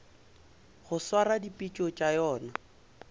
go swara dipitšo tša yona